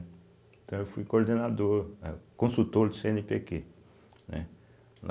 Então eu fui coordenador, eh consultor do cêenepêquê, né?